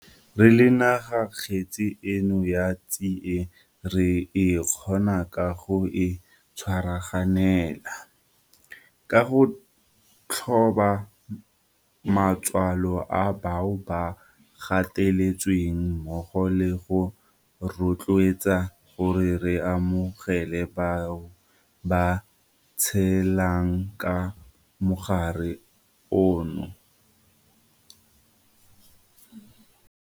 Re le naga kgetse eno ya tsie re e kgona ka go e tshwaraganela, ka go thoba matswalo a bao ba gateletsweng mmogo le go rotloetsana gore re amogele bao ba tshelang ka mogare ono.